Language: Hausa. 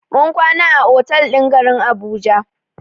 Mun kwana a otal ɗin garin Abuja.